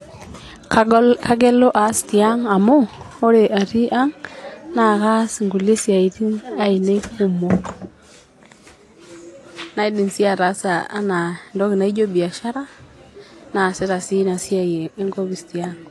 Kagol Kagelu aas tiang amu ore atii ang naa kaas nkulie siatini ainiei kumok naa kaidim sii ataasa anaa entoki naijo biashara naasita sii inasiaai enkopis tiaang.